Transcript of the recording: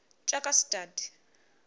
tjakastad